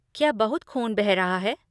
क्या बहुत ख़ून बह रहा है?